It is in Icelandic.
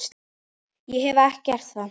Ég hef gert það.